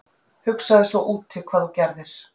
Hugsaðu svo úti hvað þú gerðir??